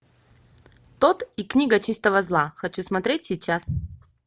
тодд и книга чистого зла хочу смотреть сейчас